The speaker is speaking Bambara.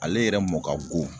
Ale yɛrɛ mɔn ka go.